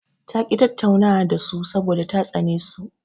Ta ƙi tattaunawa da su saboda ta tsane su.